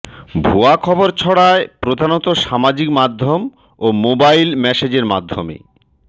ভুয়া খবর ছড়ায় প্রধানত সামাজিক মাধ্যম ও মোবাইল মেসেজের মাধ্যমে